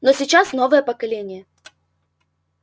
но сейчас новое поколение